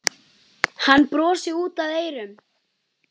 Hann brosti út að eyrum.